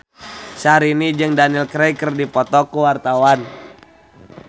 Syahrini jeung Daniel Craig keur dipoto ku wartawan